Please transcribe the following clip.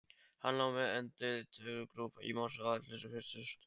Hann lá með andlitið grúft í mosa og axlirnar hristust.